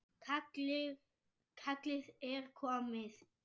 Kallið er komið.